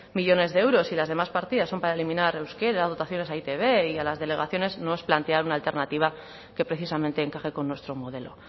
millónes de euros y las demás partidas son para eliminar euskera dotaciones a e i te be y a las delegaciones no es plantear una alternativa que precisamente encaje con nuestro modelo